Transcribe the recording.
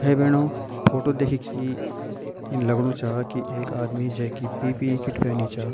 भाई भैणो फोटो देखि की इन लगणु चा की एक आदमी जैकी पी.पी.इ. किट पैनी चा।